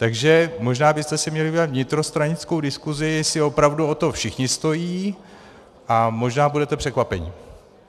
Takže možná byste si měli udělat vnitrostranickou diskuzi, jestli opravdu o to všichni stojí, a možná budete překvapeni.